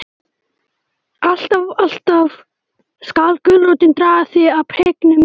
Alltaf, alltaf skal gulrótin draga þig að prikinu mínu.